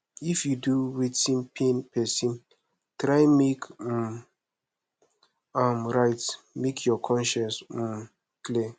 if yu do wetin pain pesin try mek um am right mek yur conscience um clear